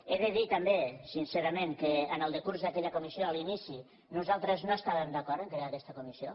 he de dir també sincerament que en el decurs d’aquella comissió a l’inici nosaltres no estàvem d’acord amb el fet de crear aquesta comissió